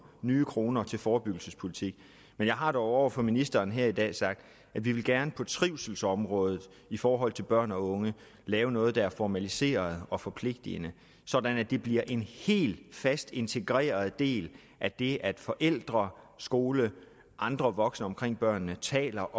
nye kroner til forebyggelsespolitik men jeg har dog over for ministeren her i dag sagt at vi gerne på trivselsområdet i forhold til børn og unge vil lave noget der er formaliseret og forpligtende sådan at det bliver en helt fast integreret del af det at forældre skole og andre voksne omkring børnene taler